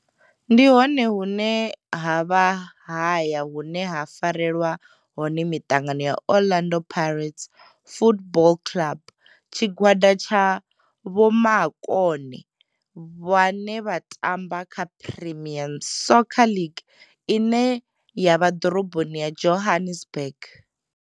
Ndi hone hune havha haya hune ha farelwa hone mitangano ya Orlando Pirates Football Club. Tshigwada tsha vhomakone vhane vha tamba kha Premier Soccer League ine ya vha ḓorobo ya Johannesburg.